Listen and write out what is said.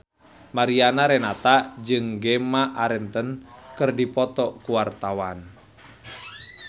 Mariana Renata jeung Gemma Arterton keur dipoto ku wartawan